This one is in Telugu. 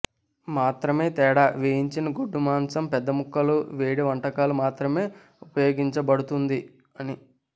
మాత్రమే తేడా వేయించిన గొడ్డు మాంసం పెద్ద ముక్కలు వేడి వంటకాలు మాత్రమే ఉపయోగించబడుతుంది అని